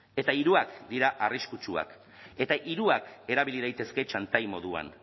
eta hiruak dira arriskutsuak eta hiruak erabili daitezke txantai moduan